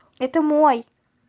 это мой